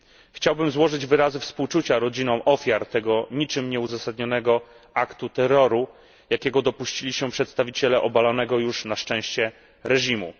Chciałbym złożyć wyrazy współczucia rodzinom ofiar tego niczym nieuzasadnionego aktu terroru, jakiego dopuścili się przedstawiciele obalonego już na szczęście reżimu.